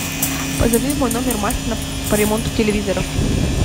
позови в мой номер мастера по ремонту телевизоров